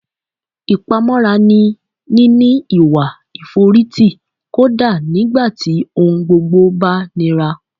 Ìpamọ́ra ni níní ìwà ìforítì kódá nígbà tí ohun gbogbo bá nira